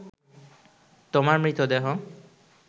তোমার মৃতদেহ